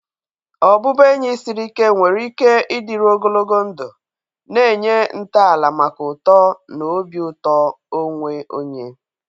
Ọbụbụenyi siri ike nwere ike ịdịru ogologo ndụ, na-enye ntọala maka uto na obi ụtọ onwe onye.